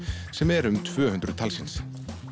sem eru um tvö hundruð talsins